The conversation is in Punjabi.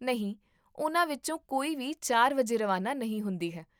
ਨਹੀਂ, ਉਨ੍ਹਾਂ ਵਿੱਚੋਂ ਕੋਈ ਵੀ ਚਾਰ ਵਜੇ ਰਵਾਨਾ ਨਹੀਂ ਹੁੰਦੀ ਹੈ?